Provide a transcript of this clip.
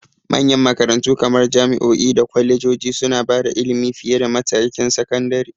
Manyan makarantu kamar jami'o'i da kwalejoji suna ba da ilimi fiye da matakin sakandare.